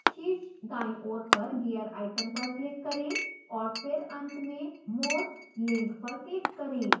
शीर्ष दाईं ओर पर gear icon पर click करें और फिर अंत में more… link पर click करें